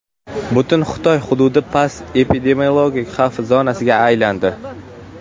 Butun Xitoy hududi past epidemiologik xavf zonasiga aylandi.